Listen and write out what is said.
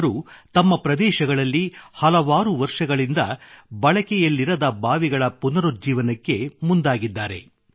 ಇವರು ತಮ್ಮ ಪ್ರದೇಶಗಳಲ್ಲಿ ಹಲವಾರು ವರ್ಷಗಳಿಂದ ಬಳಕೆಯಲ್ಲಿರದ ಬಾವಿಗಳ ಪುನರುಜ್ಜೀವನಕ್ಕೆ ಮುಂದಾಗಿದ್ದಾರೆ